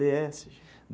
Dê esse?